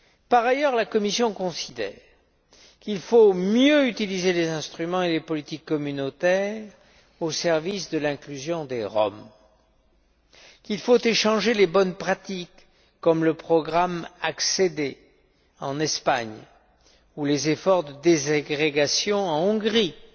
Par ailleurs, la Commission considère qu'il faut mieux utiliser les instruments et les politiques communautaires au service de l'inclusion des Roms, qu'il faut échanger les bonnes pratiques, comme le programmé ACCEDER en Espagne ou les efforts de déségrégation en Hongrie, que pour